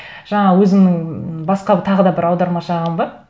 жаңағы өзімнің басқа тағы да бір аудармашы ағам бар